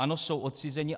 Ano, jsou odcizeni.